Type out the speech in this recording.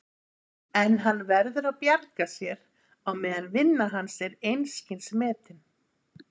En hann verður að bjarga sér á meðan vinna hans er einskis metin.